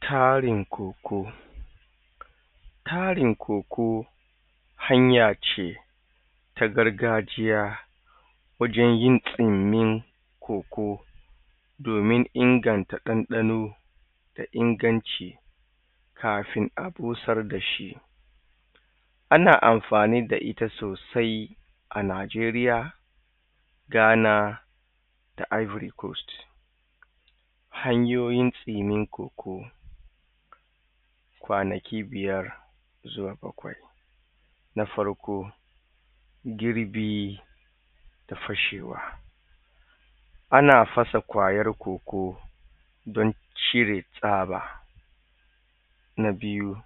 tarin koko tarin koko hanya ce ta gargajiya wajen yin kinyin koko domin inganta ɗanɗano da inganci kafin a busar da shi ana amfani da ita sosai a najeriya ghana da ivory coast hanyoyin tsinin koko kwanaki biyar toh na farko girbi da fashewa ana fasa kwayar koko don cire tsaba na biyu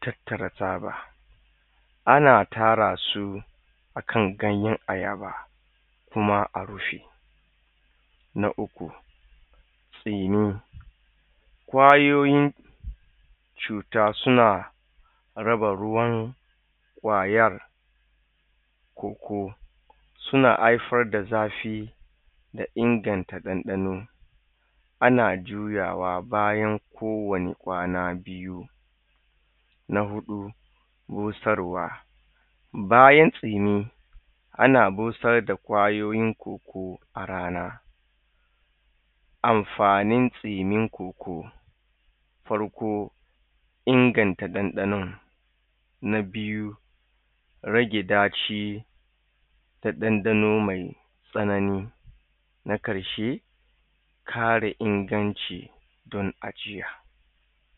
tattara tsaba ana tara su akan ganyen ayaba kuma a rufe na uku tsinin kwayoyin cuta suna raba ruwan kwayar koko suna haifar da zafi da inganta ɗanɗano ana juyawa bayan ko wani kwana biyu na huɗu busarwa bayan tsinin ana busar da kwayoyin koko a rana amfanin tsinin koko farko inganta ɗanɗanon na biyu rage daci da danɗano mai tsanani na karshe kare inganci don ajiya